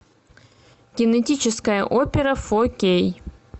генетическая опера фо кей